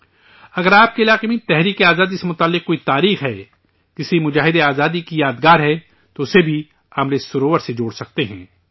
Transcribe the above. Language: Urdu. اگر آپ کے علاقے میں جدوجہد آزادی سے جڑی کوئی تاریخ ہے، کسی فوجی کی یادگار ہے، تو اسے بھی امرت سروور سے جوڑ سکتے ہیں